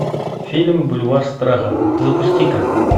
фильм бульвар страха запусти ка